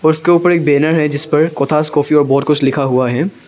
उसके ऊपर एक बैनर है जिस पर कोथास कॉफी और बहुत कुछ लिखा हुआ है।